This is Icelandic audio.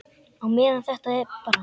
Á meðan þetta er bara.